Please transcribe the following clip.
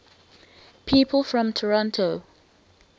people from toronto